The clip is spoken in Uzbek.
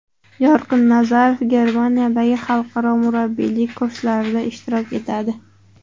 Yorqin Nazarov Germaniyadagi Xalqaro murabbiylik kurslarida ishtirok etadi.